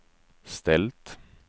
ställt